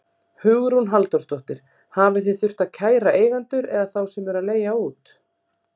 Hugrún Halldórsdóttir: Hafið þið þurft að kæra eigendur eða þá sem eru að leigja út?